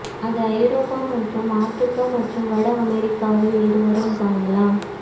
அது ஐரோப்பா மற்றும் ஆப்பிரிக்கா மற்றும் வட அமெரிக்காவில் இருவரும் காணலாம்